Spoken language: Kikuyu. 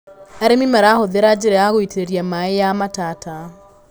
Arĩmi marahũthĩra njĩra ya gũitĩrĩria maĩ ya matata.